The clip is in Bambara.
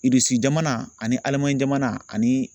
jamana ani Alimanɲi jamana ani